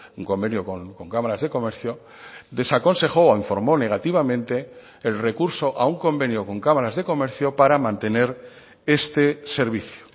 un convenio con cámaras de comercio desaconsejó o informó negativamente el recurso a un convenio con cámaras de comercio para mantener este servicio